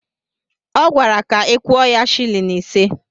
Ọ gwara ka ị kwuo ya silin ise.